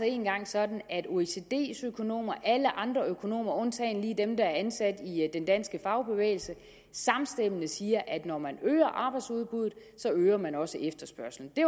engang sådan at oecd’s økonomer og alle andre økonomer undtagen lige dem der er ansat i den danske fagbevægelse samstemmende siger at når man øger arbejdsudbuddet øger man også efterspørgslen det